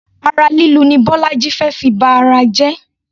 Ara lílu ni bọ́lájí fé fi ba ara jẹ.